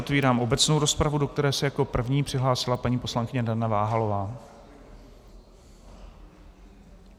Otvírám obecnou rozpravu, do které se jako první přihlásila paní poslankyně Dana Váhalová.